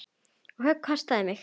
Það högg kostaði mig.